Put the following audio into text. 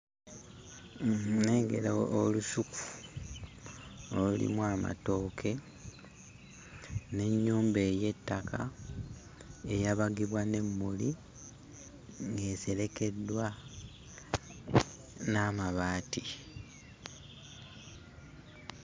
Nnengera olusuku olulimu amatooke n'ennyumba ey'ettaka eyabagibwa n'emmuli ng'eserekeddwa n'amabaati.